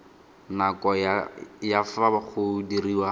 nako ya fa go diriwa